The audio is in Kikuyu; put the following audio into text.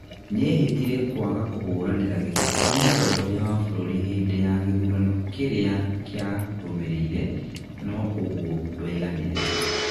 Nĩehĩtire kwaga kũhũranĩra gĩtĩ kĩa mũtongoria wa bũrũri hĩndĩ ya gĩthurano kĩria kia rũmĩrĩire, no ũgũo ndwaiganire